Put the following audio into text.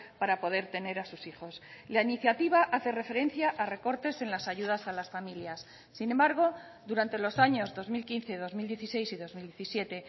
para poder tener a sus hijos la iniciativa hace referencia a recortes en las ayudas a las familias sin embargo durante los años dos mil quince dos mil dieciséis y dos mil diecisiete